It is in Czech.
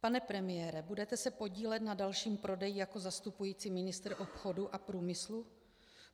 Pane premiére, budete se podílet na dalším prodeji jako zastupující ministr obchodu a průmyslu?